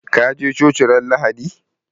Ka je coci ran lahadi?